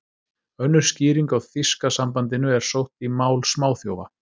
Önnur skýring á þýska sambandinu er sótt í mál smáþjófa.